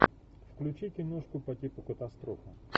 включи киношку по типу катастрофа